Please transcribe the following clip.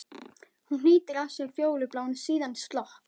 Hún hnýtir að sér fjólubláan, síðan slopp.